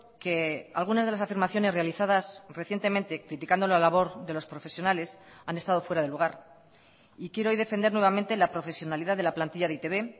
que algunas de las afirmaciones realizadas recientemente criticando la labor de los profesionales han estado fuera de lugar y quiero hoy defender nuevamente la profesionalidad de la plantilla de e i te be